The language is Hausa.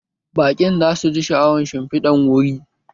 Baƙin za su ji sha'awan shimfidar wuri